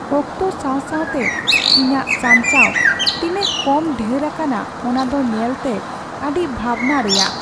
ᱚᱠᱛᱚ ᱥᱟᱶ ᱥᱟᱶᱛᱮ ᱤᱧᱟᱹᱜ ᱥᱟᱧᱪᱟᱣ ᱛᱤᱱᱟᱹᱜ ᱠᱚᱢ ᱰᱷᱮᱨ ᱟᱠᱟᱱᱟ ᱚᱱᱟ ᱫᱚ ᱧᱮᱞᱛᱮ ᱟᱹᱰᱤ ᱵᱷᱟᱵᱽᱱᱟ ᱨᱮᱭᱟᱜ ᱾